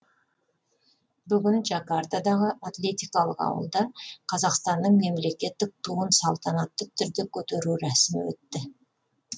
бүгін джакартадағы атлетикалық ауылда қазақстанның мемлекеттік туын салтанатты түрде көтеру рәсімі өтті